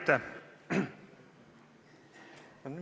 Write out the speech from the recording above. Aitäh!